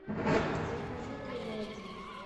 закажи говядины